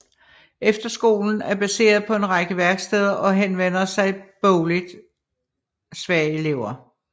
Efterskolen er baseret på en række værksteder og henvender sig til bogligt svage elever